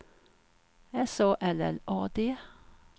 S A L L A D